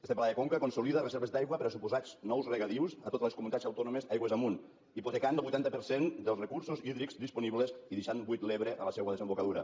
este pla de conca consolida reserves d’aigua per a suposats nous regadius a totes les comunitats autònomes aigües amunt hipotecant el vuitanta per cent dels recursos hídrics disponibles i deixant buit l’ebre a la seua desembocadura